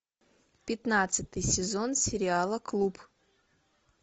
пятнадцатый сезон сериала клуб